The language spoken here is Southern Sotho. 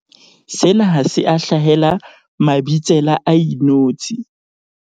Sena ha se a hlahela Mabitsela a inotshi.